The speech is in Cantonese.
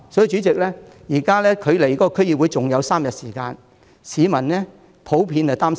主席，現在距離區議會選舉還有3天，市民普遍擔心甚麼呢？